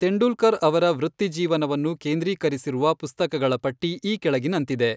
ತೆಂಡೂಲ್ಕರ್ ಅವರ ವೃತ್ತಿಜೀವನವನ್ನು ಕೇಂದ್ರೀಕರಿಸಿರುವ ಪುಸ್ತಕಗಳ ಪಟ್ಟಿ ಈ ಕೆಳಗಿನಂತಿದೆ.